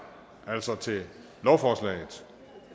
altså til lovforslaget